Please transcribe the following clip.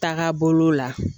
Taga bolo la